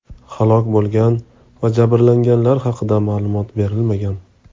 Halok bo‘lgan va jabrlanganlar haqida ma’lumot berilmagan.